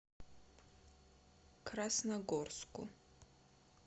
красногорску